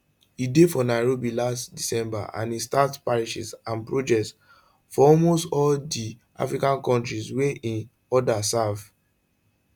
e dey for nairobi last december and e start parishes and projects for almost all di african kontris wia im order serve